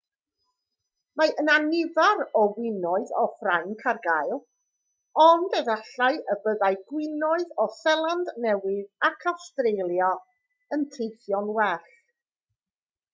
mae yna nifer o winoedd o ffrainc ar gael ond efallai y byddai gwinoedd o seland newydd ac awstralia yn teithio'n well